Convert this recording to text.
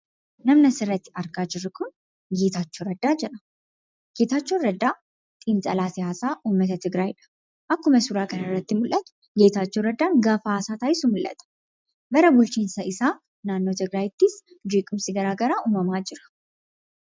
Namni as irratti argaa jiruu kun, Getachoo Radddaa jedhama. Getachoon Raddaa Xinxaalaa Siyasaa uumataa Tigiraaydha. Akkuma suuraa kana irratti mul'atu. Getachoo Raddaa gafaa haasaa tasisuu mul'ata. Bara bulchiinsaa isaa naannoottis Tigiraayti jeequmsi gara garaa uumamaa jira.